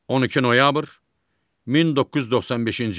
12 noyabr 1995-ci il.